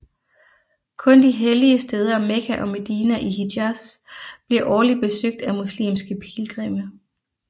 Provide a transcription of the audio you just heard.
Kun de hellige steder Mekka og Medina i Hijaz bliver årligt besøgt af muslimske pilgrimme